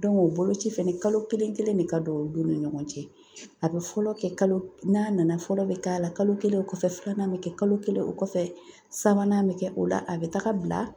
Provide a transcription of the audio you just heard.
o boloci fɛnɛ kalo kelen de ka don o don ni ɲɔgɔn cɛ, a bɛ fɔlɔ kɛ kalo n'a nana fɔlɔ bɛ k'a la , kalo kelen ,o kɔfɛ filanan bɛ kɛ, kalo kelen o kɔfɛ sabanan bɛ .kɛ o la a bɛ taga bila